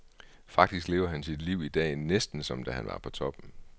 Faktisk lever han sit liv i dag, næsten som da han var på toppen.